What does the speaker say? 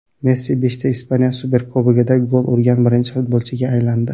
Messi beshta Ispaniya Superkubogida gol urgan birinchi futbolchiga aylandi.